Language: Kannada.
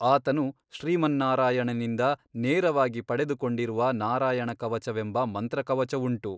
ಆತನು ಶ್ರೀಮನ್ನಾರಾಯಣನಿಂದ ನೇರವಾಗಿ ಪಡೆದುಕೊಂಡಿರುವ ನಾರಾಯಣಕವಚವೆಂಬ ಮಂತ್ರ ಕವಚವುಂಟು.